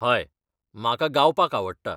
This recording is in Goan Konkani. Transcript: हय, म्हाका गावपाक आवडटा.